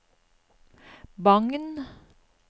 Bagn